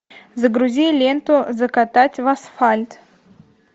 загрузи ленту закатать в асфальт